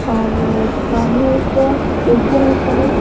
और सामने एक टीचर हैं खड़े--